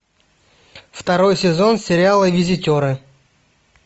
второй сезон сериала визитеры